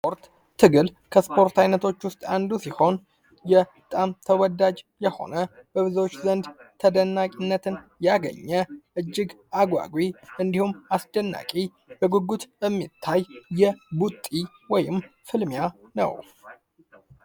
ስፖርት ትግል ከስፖርት ዓይነቶች ውስጥ አንዱ ሲሆን፤ በጣም ተወዳጅ የሆነ በብዙዎች ዘንድ ተደናቂነትን ያገኘ እጅግ አጓጊ እንዲሁም፤ አስደናቂ በጉጉት የሚታይ ቡጢ ወይም ፍልሚያ ነው።